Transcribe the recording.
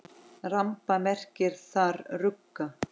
Ramba merkir þar rugga.